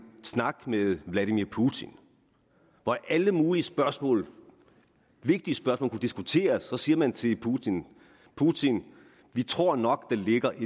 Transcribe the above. snak med vladimir putin hvor alle mulige spørgsmål vigtige spørgsmål kunne diskuteres siger man til putin putin vi tror nok der ligger et